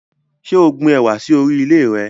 Ṣé o gbin ẹwà sì orí ilẹ̀ re?